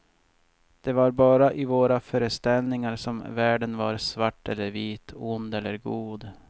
Det var bara i våra föreställningar som världen var svart eller vit, ond eller god.